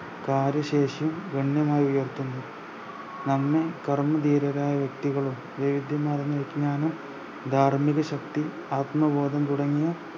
വാര ശേഷിയും ഗണ്യമായി ഉയർത്തുന്നു നന്നും കർമ്മ ധീരരായ വ്യെക്തികളും മാർന്ന വിഞ്യാനം ധാർമ്മിക ശക്തി ആത്മബോധം തുടങ്ങിയ